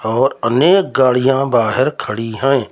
और अनेक गाड़ियां बाहर खड़ी हैं।